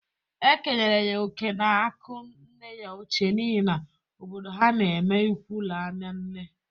E kenyere ya oke n'akụ nne ya ochie n'ihi na obodo ha n'eme ịkwụ laa na nne.